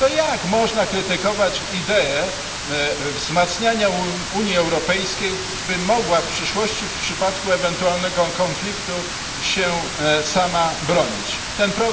Jak można krytykować idee wzmacniania Unii Europejskiej, by mogła w przyszłości w przypadku ewentualnego konfliktu bronić się sama?